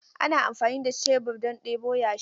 Ana amfani da shebur don ɗebo yashi.